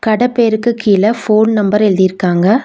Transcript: கட பேருக்கு கீழ ஃபோன் நம்பர் எழுதிருக்காங்க.